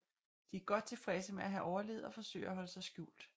De er godt tilfredse med at have overlevet og forsøger at holde sig skjult